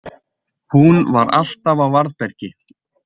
Hún var alltaf á varðbergi.